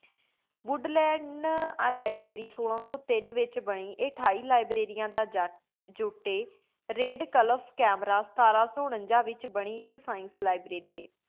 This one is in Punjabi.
ਵੂਦ੍ਲੈੰਡ ਲਿਬ੍ਰਾਰੀ ਸੋਲਾ ਸੋ ਤੀਨ ਵਿਚ ਬਾਨੀ ਆਯ ਅਠਾਈ ਲਿਬ੍ਰਾਰੀਆਂ ਦਾ ਜੁਟ ਆਯ ਰਾਦੇਕ੍ਲੁਫ਼ ਕੈਮਰਾ ਸਤਰ ਸੋ ਉਨਾਨ੍ਜਾ ਵਿਚ ਬਾਨੀ ਆਇਕ radcliffe camera ਸਤ੍ਰੰ ਸੋ ਅਨਾਜ ਵੇਚ ਬਾਣੀ ਇਕ science library ਆਈ